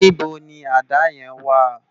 Nibó ni àdá yèn wá?